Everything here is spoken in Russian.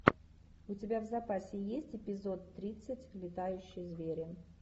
у тебя в запасе есть эпизод тридцать летающие звери